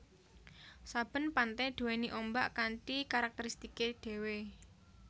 Saben pante duwéni ombak kanthi karakteristike dhewe